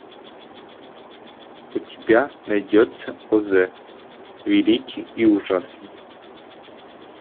у тебя найдется оз великий и ужасный